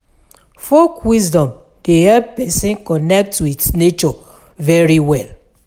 Folk wisdom de help persin connect with nature very well